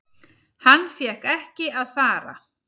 Hann fékk ekki að fara.